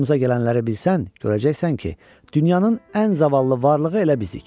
Başımıza gələnləri bilsən, görəcəksən ki, dünyanın ən zavallı varlığı elə bizik.